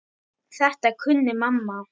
Þetta kunni mamma.